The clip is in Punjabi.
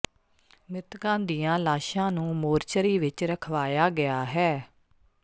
ਮਿ੍ਤਕਾਂ ਦੀਆਂ ਲਾਸ਼ਾਂ ਨੂੰ ਮੋਰਚਰੀ ਵਿਚ ਰਖਵਾਇਆ ਗਿਆ ਹੈ